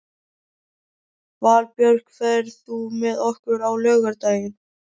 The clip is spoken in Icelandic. Valbjörk, ferð þú með okkur á laugardaginn?